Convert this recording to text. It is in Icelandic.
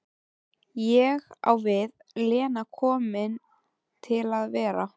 Ég á við, Lena komin til að vera?